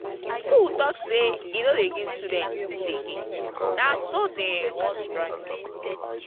school talk say e no dey give students food again na so dey um wan strike um.